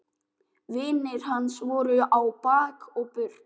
Vinir hans voru á bak og burt.